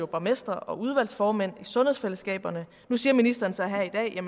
borgmestre og udvalgsformænd i sundhedsfællesskaberne nu siger ministeren så her i dag at